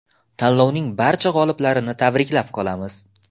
Tanlovning barcha g‘oliblarini tabriklab qolamiz!